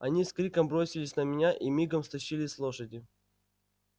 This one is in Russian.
они с криком бросились на меня и мигом стащили с лошади